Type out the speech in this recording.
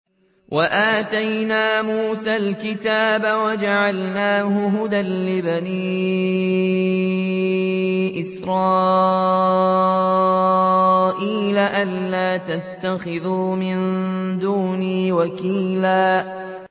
وَآتَيْنَا مُوسَى الْكِتَابَ وَجَعَلْنَاهُ هُدًى لِّبَنِي إِسْرَائِيلَ أَلَّا تَتَّخِذُوا مِن دُونِي وَكِيلًا